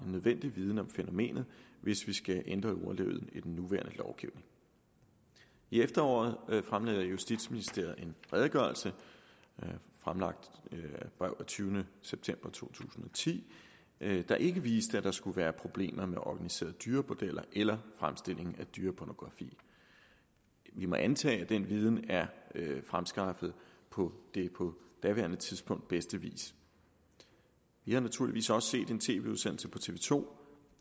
nødvendig viden om fænomenet hvis vi skal ændre ordlyden i den nuværende lovgivning i efteråret fremlagde justitsministeriet en redegørelse fremlagt i brev af tyvende september to tusind og ti der ikke viste at der skulle være problemer med organiserede dyrebordeller eller fremstilling af dyrepornografi vi må antage at den viden er fremskaffet på den på daværende tidspunkt bedste vis vi har naturligvis også set en tv udsendelse på tv to